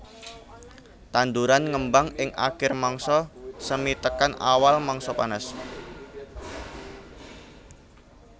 Tanduran ngembang ing akir mangsa semi tekan awal mangsa panas